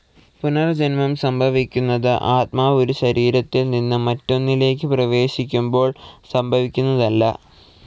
പുനർജന്മം സംഭവിക്കുന്നത് ആത്മാവ് ഒരു ശരീരത്തിൽ നിന്ന് മറ്റൊന്നിലേക്കു പ്രവേശിക്കുമ്പോൾ സംഭവിക്കുന്നതല്ല.